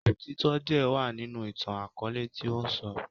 Otitọ diẹ wa ninu itan-akọọlẹ ti o sọ.